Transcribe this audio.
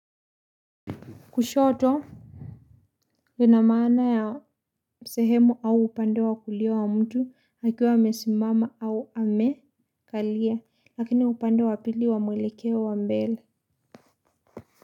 Kushoto, lina maana ya sehemu au upande wa kulio wa mtu, akiwa amesimama au amekalia, lakini upande wa pili wa mwelekeo wa mbele.